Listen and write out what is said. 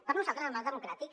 per nosaltres el marc democràtic